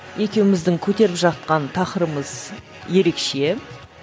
екеуміздің көтеріп жатқан тақырыбымыз ерекше